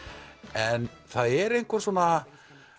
en það er einhver svona